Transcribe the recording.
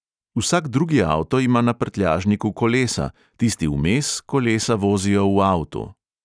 Vsak drugi avto ima na prtljažniku kolesa, tisti vmes kolesa vozijo v avtu.